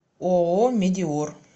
ооо медеор